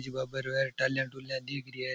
शिव बाबा रो है डाली डुली दिख रही है।